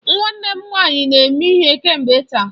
Nwanne m nwanyị na eme ihe kemgbe taa.